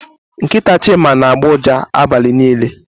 Nkịta Chima na-agbọ ụja abalị niile.